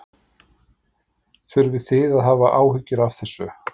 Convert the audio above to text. Þurfið þið að hafa áhyggjur af þessu?